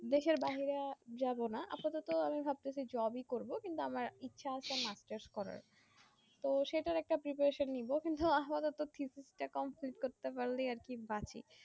দেশের বাহিরে যাবো না আপাতত ভাবতেছি job ই করবো কিন্তু আমার ইচ্ছা আছে masters করার তো সেটার একটা preparation নিবো কিন্তু আমারতো থিথিস তা complete করতে পারলেই আরকি বাঁচি